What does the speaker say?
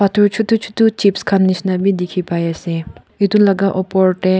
phtor chutu chutu chips khan nishina bi dikhipaiase aro edu laka opor tae.